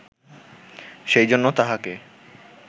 সেইজন্য তাহাকে